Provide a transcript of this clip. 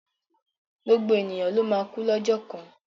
Gbogbo ènìyàn ló máa kú lọ́jọ́ kan.